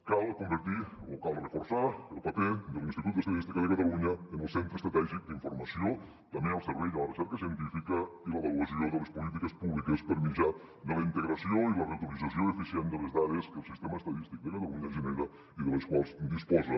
cal convertir o cal reforçar el paper de l’institut d’estadística de catalunya en el centre estratègic d’informació també al servei de la recerca científica i l’avaluació de les polítiques públiques per mitjà de la integració i la reutilització eficient de les dades que el sistema estadístic de catalunya genera i de les quals disposa